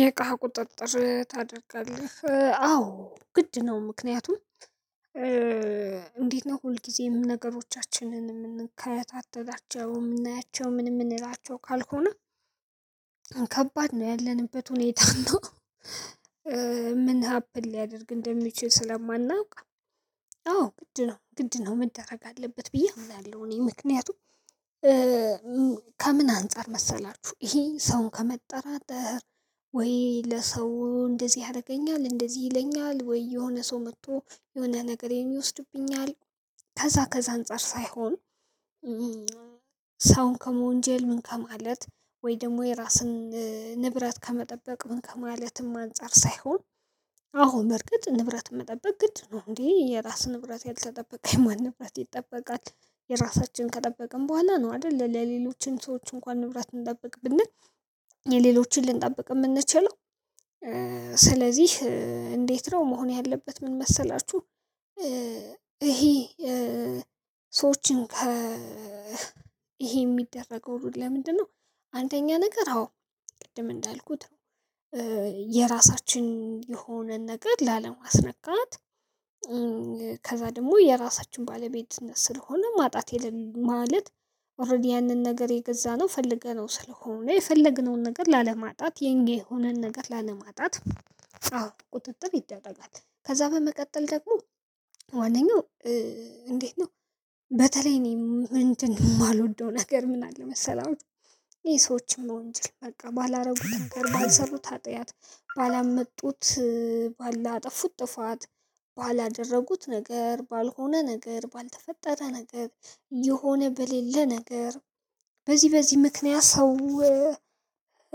የእቃህ ቁጥጥር ታደርጋለህ አዎ ግድ ነው። ምክንያቱም እንዴት ነው ሁልጊዜም ነገሮቻችንን የምንከታተላቸው የምናያቸው ምን የምንላቸው ካልሆነ። ከባድ ነው ያለንበት ሁኔታ እና። ምን ሀፕን ሊያደርግ እንደሚችል ስለማናውቅ። አዎ ግድ ነው ግድ ነው መደረግ አለበት ብዬ አምናለሁ። እኔ ምክንያቱም ከምን አንፃር መሰላችሁ? ይሄ ሰውን ከመጠራጠር ወይ ለሰው እንደዚህ ያደርገኛል እንደዚህ ይለኛል ወይ የሆነ ሰው መጥቶ የሆነ ነገሬን ይወስድብኛል። ከዛ ከዛ አንፃር ሳይሆን። ሰውን ከመወንጀል ምን ከማለት ወይም ደግሞ የራስን ንብረት ከመጠበቅ ምን ከማለትም አንፃር ሳይሆን። አዎ በርግጥ ንብረት መጠበቅ ግድ ነው። እንዴ የራስን ንብረት ያልተጠበቀ የማን ንብረት ይጠበቃል? የራሳችን ከጠበቅን በኋላ ነው አይደል? ለሌሎችን ሰዎች እንኳን ንብረት እንጠብቅ ብንል የሌሎችን ልንጠብቅ የምንችለው። ስለዚህ እንዴት ነው መሆን ያለበት ምን መሰላችሁ? ይሄ ሰዎችን ከ ይሄ የሚደረገው ሁሉ ለምንድነው? አንደኛ ነገር አዎ ቅድም እንዳልኩት የራሳችን የሆነን ነገር ላለማስነካት። ከዛ ደግሞ የራሳችን ባለቤትነት ስለሆነ ማጣት የለም ማለት ኦሬዲ ያንን ነገር የገዛነው ፈልገነው ስለሆነ የፈለግነውን ነገር ላለማጣት የእንጌ የሆነን ነገር ላለማጣት። ቁጥጥር ይደረጋል። ከዛ በመቀጠል ደግሞ ዋነኛው እንዴት ነው? በተለይ እኔ እንትን የማልወደው ነገር ምን አለ መሰላችሁ? ይሄ ሰዎችም መወንጀል በቃ ባላረጉት ነገር ባልሰሩት ኃጢያት ባላመጡት ባላጠፉት ጥፋት ባላደረጉት ነገር ባልሆነ ነገር ባልተፈጠረ ነገር የሆነ በሌለ ነገር በዚህ በዚህ ምክንያት ሰው